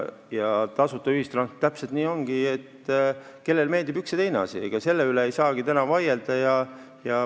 Täpselt nii ongi, et kellele meeldib üks ja kellele teine asi, ega selle üle ei saagi vaielda.